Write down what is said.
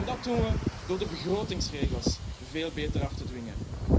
Dat doen we door de begrotingsregels veel beter af te dwingen.